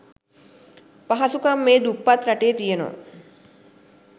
පහසුකම් මේ දුප්පත් රටේ තියෙනව.